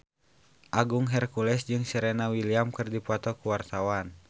Agung Hercules jeung Serena Williams keur dipoto ku wartawan